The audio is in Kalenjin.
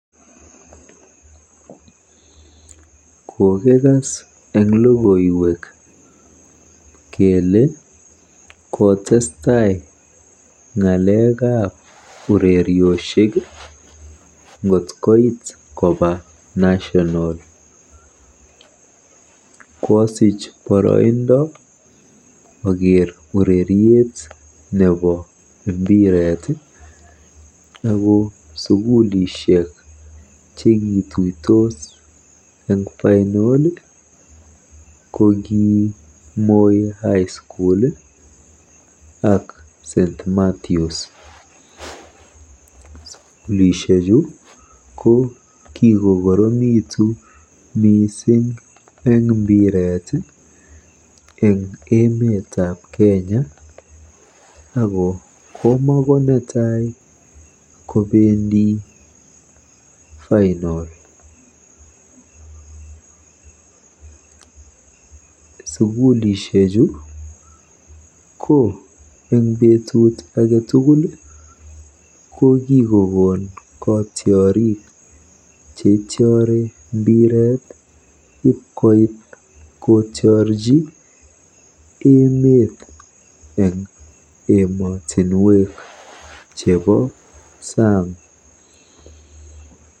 Kokikas eng logoiwek kele kotestai ng'alekab ureriosiek ngot koit koba National. Koosich boroindo oker ureriet nebo mbiret ako sukulishek chekituitos eng Final ko ki Moi High School ak St Mathews. Sukulishechu ko kikokoromitu mising eng mbiret eng emetab kenya ako komakonetai kobendi FInal. Sukulisheju ko kikokon katiorik cheitiori mbiret ipkoit kotiorji emeet eng emotinwek chebo saang.